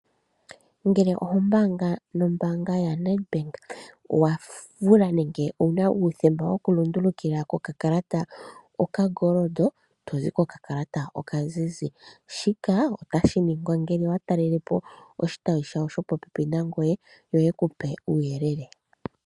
Ngele oho mbaanga no mbaanga ya Netbank owuna uuthemba woku lundulukila okakalata kolwaala olukushu nenge tozi ko kakalata okazizi ,shika otashi ngingwa ngele wa talelepo ishitayi shopopepi nangoye yo yekupe uuyelele.